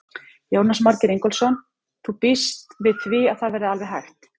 Jónas Margeir Ingólfsson: Þú býst við því að það verði alveg hægt?